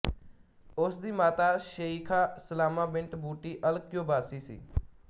ਉਸ ਦੀ ਮਾਤਾ Sheikha Salama bint Butti Al Qubaisi ਸੀ